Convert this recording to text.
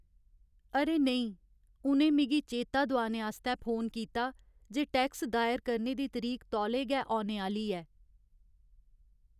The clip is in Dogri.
अरे नेईं! उ'नें मिगी चेता दुआने आस्तै फोन कीता जे टैक्स दायर करने दी तरीक तौले गै औने आह्‌ली ऐ।